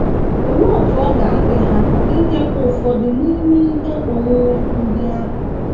Olee otú ọ ga - adị ha inyepụ ụfọdụ n’ime ihe onwunwe ndị ahụ?